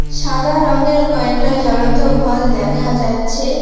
সাদা রঙ্গের কয়টা জ্বলন্ত ভল দেখা যাচ্ছে।